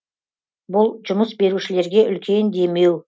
бұл жұмыс берушілерге үлкен демеу